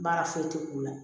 Baara foyi tɛ k'u la